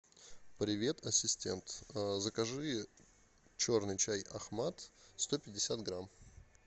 привет ассистент закажи черный чай ахмат сто пятьдесят грамм